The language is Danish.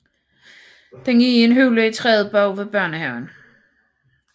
Den er i en hule i træet bag ved børnehaven